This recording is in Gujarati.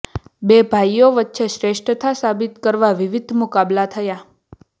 બે ભાઈઓ વચ્ચે શ્રેષ્થતા સાબિત કરવા વિવિધ મુકાબલા થયા